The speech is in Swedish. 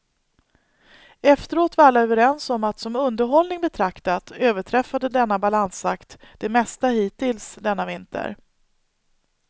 Efteråt var alla överens om att som underhållning betraktat överträffade denna balansakt det mesta hittills denna vinter.